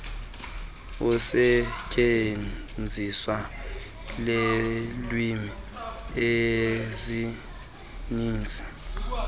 usetyenziso lweelwimi ezininzi